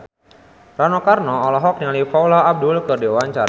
Rano Karno olohok ningali Paula Abdul keur diwawancara